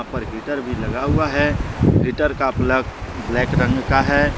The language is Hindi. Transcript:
ऊपर हीटर भी लगा हुआ है हीटर का प्लग ब्लैक रंग का है।